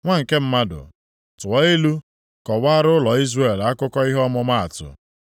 “Nwa nke mmadụ, tụọ ilu kọwaara ụlọ Izrel akụkọ ihe ọmụma atụ.